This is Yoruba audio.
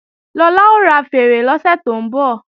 Lọlá ó ra fèèrè lọ́sẹ̀ tó ń bọ̀